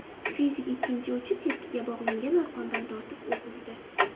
Fizik ikkinchi uchi tepkiga bog‘langan arqondan tortib, o‘q uzdi.